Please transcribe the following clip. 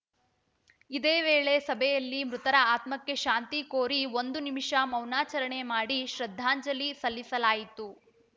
ಇದೇ ವೇಳೆ ಸಭೆಯಲ್ಲಿ ಮೃತರ ಆತ್ಮಕ್ಕೆ ಶಾಂತಿ ಕೋರಿ ಒಂದು ನಿಮಿಷ ಮೌನಾಚರಣೆ ಮಾಡಿ ಶ್ರದ್ಧಾಂಜಲಿ ಸಲ್ಲಿಸಲಾಯಿತು